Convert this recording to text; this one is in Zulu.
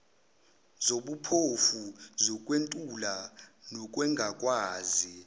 zobuphofu zokwentula nokungakwazi